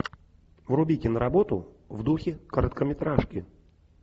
вруби киноработу в духе короткометражки